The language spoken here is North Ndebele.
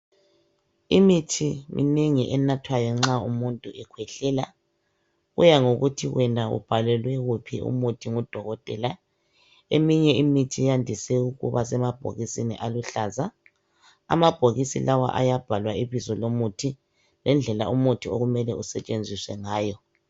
Imithi minengi enathwayo nxa umuntu ekhwehlela, kuya ngokuthi wena ubhalelwe wuphi umuthi ngudokotela. Eminye imithi yandise ukuba semabhokisini aluhlaza. Amabhokisi lawa ayabhalwa ibizo lomuthi, ngendlela umuthi okumele usetshenziswe ngayo.